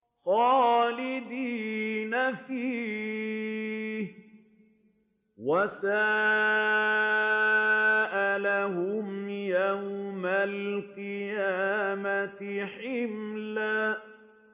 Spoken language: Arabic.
خَالِدِينَ فِيهِ ۖ وَسَاءَ لَهُمْ يَوْمَ الْقِيَامَةِ حِمْلًا